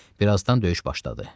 Bir azdan döyüş başladı.